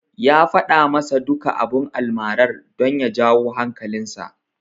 Ya faɗa masa duka abun almarar, don ya jawo hankalinsa.